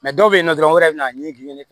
dɔw bɛ yen nɔ dɔrɔn wɛrɛ bɛ na a ɲini k'i